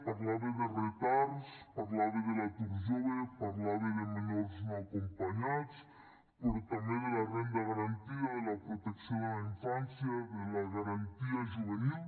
parlava de retards parlava de l’atur jove parlava de menors no acompanyats però també de la renda garantida de la protecció de la infància de la garantia juvenil